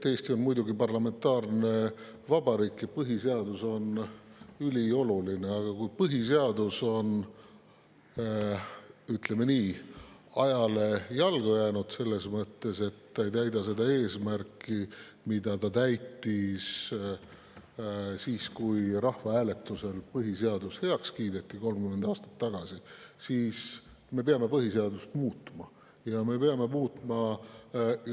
Eesti on muidugi parlamentaarne vabariik ja põhiseadus on ülioluline, aga kui põhiseadus on, ütleme nii, ajale jalgu jäänud, selles mõttes, et ta ei täida seda eesmärki, mida ta täitis siis, kui rahvahääletusel põhiseadus 30 aastat tagasi heaks kiideti, siis me peame põhiseadust muutma.